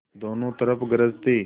दोनों तरफ गरज थी